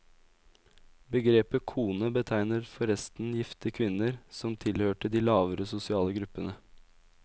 Begrepet kone betegner forresten gifte kvinner som tilhørte de lavere sosiale gruppene.